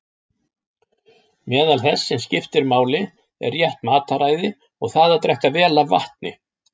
Meðal þess sem skiptir máli er rétt mataræði og það að drekka vel af vatni.